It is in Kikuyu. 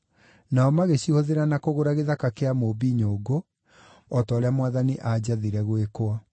nao magĩcihũthĩra na kũgũra gĩthaka kĩa mũũmbi nyũngũ, o ta ũrĩa Mwathani aanjathire gwĩkwo.”